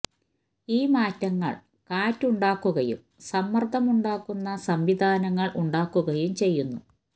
ഈ മാറ്റങ്ങൾ കാറ്റ് ഉണ്ടാക്കുകയും സമ്മർദ്ദം ഉണ്ടാക്കുന്ന സംവിധാനങ്ങൾ ഉണ്ടാക്കുകയും ചെയ്യുന്നു